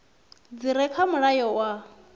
dzi re kha mulayo wa